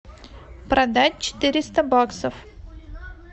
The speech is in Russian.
продать четыреста баксов